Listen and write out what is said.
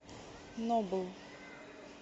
нобл